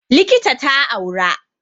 Likita ta aura